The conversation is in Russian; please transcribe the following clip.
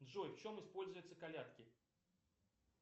джой в чем используются колядки